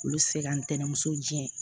Olu bɛ se ka ntɛnɛmuso diyan